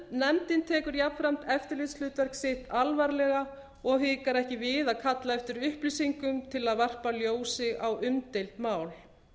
nefndin tekur jafnframt eftirlitshlutverk sitt alvarlega og hikar ekki við að kalla eftir upplýsingum til að varpa ljósi á umdeild mál